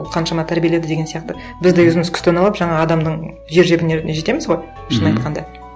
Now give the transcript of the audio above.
ол қаншама тәрбиеледі деген сияқты біз де өзіміз күстаналап жаңағы адамның жер жебіріне жетеміз ғой шын айтқанда